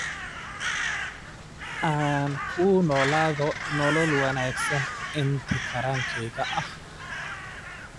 Aan ku noolaado nolol wanaagsan intii karaankeyga ah.